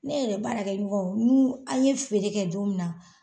Ne yɛrɛ baarakɛ ɲɔgɔn n'u an ɲe feere kɛ don min na